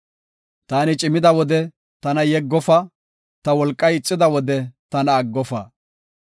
Taani cimida wode tana yeggofa; ta wolqay ixida wode tana aggofa.